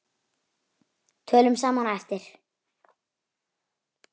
Tölum saman á eftir.